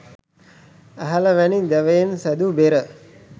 ඇහැල වැනි දැවයෙන් සැදූ බෙර